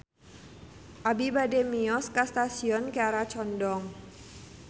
Abi bade mios ka Stasiun Kiara Condong